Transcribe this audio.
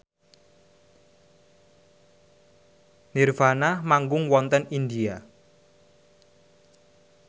nirvana manggung wonten India